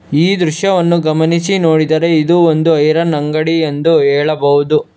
ಈ ದೃಶ್ಯವನ್ನು ಗಮನಿಸಿ ನೋಡಿದರೆ ಇದು ಒಂದು ಐರನ್ ಅಂಗಡಿ ಎಂದು ಹೇಳಬಹುದು.